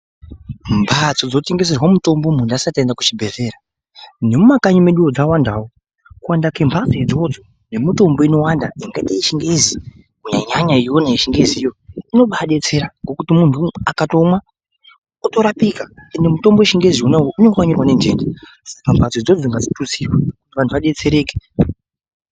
Mbadzo dzinotengeserwa mitombo mundu asati aenda kuchibhedyeya mumakanyi medumo dzawandawo, kuwanda kwembatso idzodzo nemitombo inowanda yakaaite yechingezi kunyanya iyoyo yechingeziyo inombai detsera ,ngekuti mundu akatomwa unorapika ende mutombo wechingeziwo unenge wa nenhindi saka mbatso idzodzo ngadzikurudzirwe kuti vanhu vadetsereke.